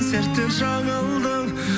серттен жаңылдың